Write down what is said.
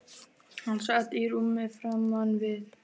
Hann sat í rúmi framan við